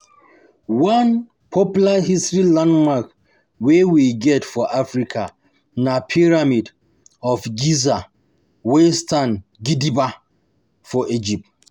One popular historic landmark wey we get for Africa na Pyramid of Giza wey stand gidigba for Egypt